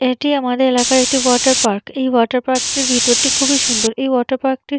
এটি আমাদের এলাকার একটি ওয়াটার পার্ক এই ওয়াটার পার্ক টি ভিতরটি খুবই সুন্দর এই ওয়াটার পার্ক টি--